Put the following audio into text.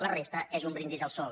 la resta és un brindis al sol